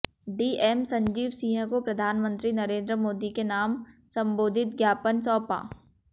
DM Sanjeev Singh को प्रधानमंत्री नरेंद्र मोदी के नाम संबोधित ज्ञापन सौंपा